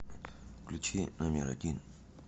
включи номер один